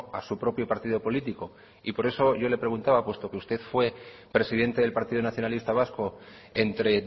a su propio partido político y por eso yo le preguntaba puesto que usted fue presidente del partido nacionalista vasco entre